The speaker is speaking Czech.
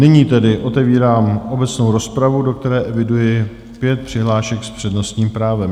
Nyní tedy otevírám obecnou rozpravu, do které eviduji pět přihlášek s přednostním právem.